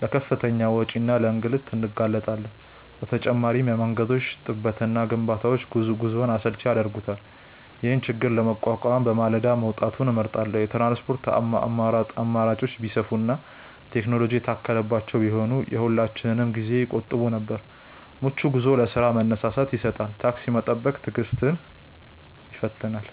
ለከፍተኛ ወጪና ለእንግልት እንጋለጣለን። በተጨማሪም የመንገዶች ጥበትና ግንባታዎች ጉዞውን አሰልቺ ያደርጉታል። ይህንን ችግር ለመቋቋም በማለዳ መውጣትን እመርጣለሁ። የትራንስፖርት አማራጮች ቢሰፉና ቴክኖሎጂ የታከለባቸው ቢሆኑ የሁላችንንም ጊዜ ይቆጥቡ ነበር። ምቹ ጉዞ ለስራ መነሳሳትን ይሰጣል። ታክሲ መጠበቅ ትዕግስትን ይፈትናል።